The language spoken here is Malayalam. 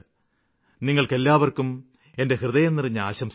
നിങ്ങള്ക്കെല്ലാവര്ക്കും എന്റെ ഹൃദയം നിറഞ്ഞ ആശംസകള്